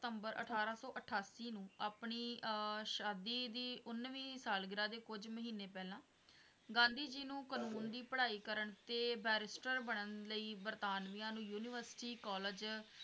ਸਤੰਬਰ ਅਠਾਰਾਂ ਸੌ ਅਠਾਸੀ ਨੂੰ ਆਪਣੀ ਆਹ ਸ਼ਾਦੀ ਦੀ ਉਨਵੀ ਸਾਲਗਿਰਾ ਦੇ ਕੁੱਝ ਮਹੀਨੇ ਪਹਿਲਾਂ ਗਾਂਧੀ ਜੀ ਨੂੰ ਕਾਨੂੰਨ ਦੀ ਪੜਾਈ ਕਰਨ ਤੇ ਬੈਰਿਸਟਰ ਬਨਣ ਲਈ ਯੂਨੀਵਰਸਿਟੀ ਕਾਲਜ